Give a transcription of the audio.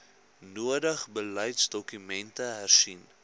nodig beleidsdokumente hersien